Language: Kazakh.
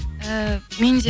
ііі мен де